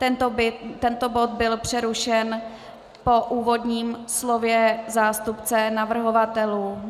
Tento bod byl přerušen po úvodním slově zástupce navrhovatelů.